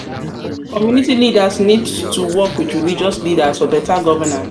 community leaders need to work with religious leaders for beta governance.